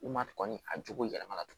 U ma kɔni a jogo yɛlɛma na